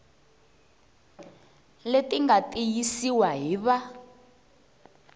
leti nga tiyisiwa hi va